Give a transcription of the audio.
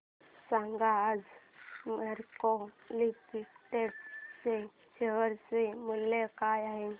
सांगा आज मॅरिको लिमिटेड च्या शेअर चे मूल्य काय आहे